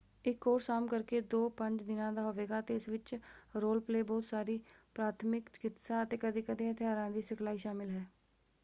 ਇਕ ਕੋਰਸ ਆਮ ਕਰਕੇ 2-5 ਦਿਨਾਂ ਦਾ ਹੋਵੇਗਾ ਅਤੇ ਇਸ ਵਿੱਚ ਰੋਲ-ਪਲੇਅ ਬਹੁਤ ਸਾਰੀ ਪ੍ਰਾਥਮਿਕ ਚਕਿਤਸਾ ਅਤੇ ਕਦੇ-ਕਦੇ ਹਥਿਆਰਾਂ ਦੀ ਸਿਖਲਾਈ ਸ਼ਾਮਿਲ ਹੈ।